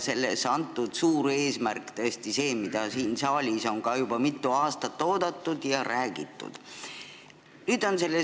Selle suur eesmärk on see, mida on siin saalis ka juba mitu aastat oodatud ja millest on räägitud.